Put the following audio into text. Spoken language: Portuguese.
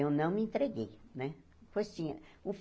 Eu não me entreguei, né?